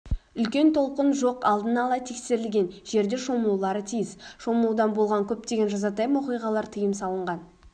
үлкен толқын жоқ алдын-ала тексерілген жерде шомылулары тиіс шомылудан болған көптеген жазатайым оқиғалар тыйым салынған